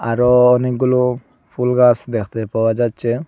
আরো অনেকগুলো ফুল গাছ দেখতে পাওয়া যাচ্ছে।